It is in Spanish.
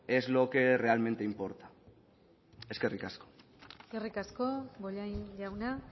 es lo que realmente importa eskerrik asko eskerrik asko bollain jauna